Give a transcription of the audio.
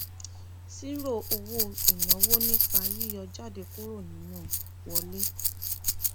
ṣírò owó ináwó nípa yíyọ jáde kúrò nínú wọlé